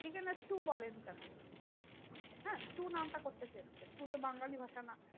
Chicken এর stew বলেন কেন? হ্যাঁ stew নামটা কোথ থেকে এসেছে? stew তো বাঙালি ভাষা না।